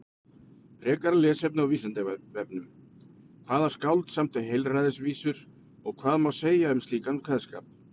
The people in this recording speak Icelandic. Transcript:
Frekara lesefni á Vísindavefnum: Hvaða skáld samdi heilræðavísur og hvað má segja um slíkan kveðskap?